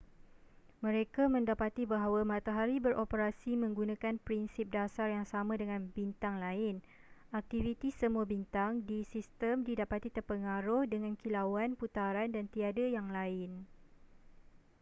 mereka mendapati bahawa matahari beroperasi menggunakan prinsip dasar yang sama dengan bintang lain aktiviti semua bintang di sistem didapati terpengaruh dengan kilauan putaran dan tiada yang lain